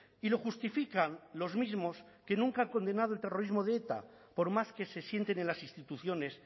y lo justifican los mismos que nunca han condenado el terrorismo de eta por más que se sienten en las instituciones